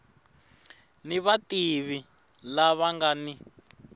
ni vativi lava nga ni